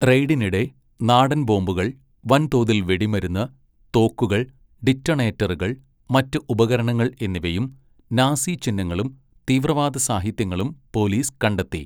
റെയ്ഡിനിടെ നാടൻ ബോംബുകൾ, വൻതോതിൽ വെടിമരുന്ന്, തോക്കുകൾ, ഡിറ്റണേറ്ററുകൾ, മറ്റ് ഉപകരണങ്ങൾ എന്നിവയും നാസി ചിഹ്നങ്ങളും തീവ്രവാദ സാഹിത്യങ്ങളും പോലീസ് കണ്ടെത്തി.